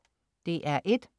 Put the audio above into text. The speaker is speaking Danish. DR1: